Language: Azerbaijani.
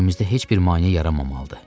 İşimizdə heç bir maneə yaranmamalıdır.